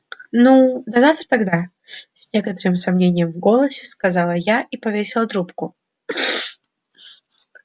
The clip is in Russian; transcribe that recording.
ну до завтра тогда с некоторым сомнением в голосе сказала я и повесила трубку